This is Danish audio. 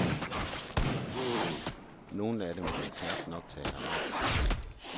Nogle af dem kan knap nok tale arabisk.